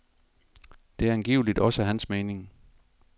Det er angiveligt også hans mening.